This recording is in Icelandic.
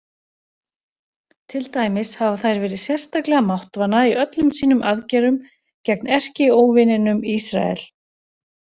Til dæmis hafa þær verið sérstaklega máttvana í öllum sínum aðgerðum gegn erkióvininum Ísrael.